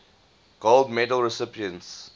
gold medal recipients